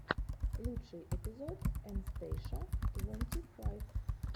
лучший эпизод эн стейша твонти файв